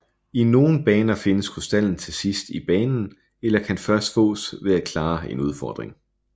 I nogle baner findes krystallen til sidst i banen eller kan først fås ved at klare en udfordring